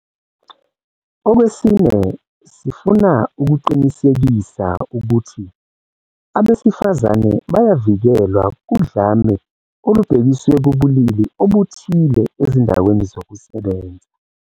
Okwesine, sifuna ukuqinisekisa ukuthi abesifazane bayavikelwa kudlame olubhekiswe kubulili obuthile ezindaweni zokusebenza.